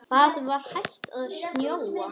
Það var hætt að snjóa.